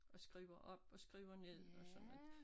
Og skriver op og skriver ned og sådan noget